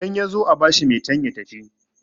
idan ya zo a bashi metan ya tafi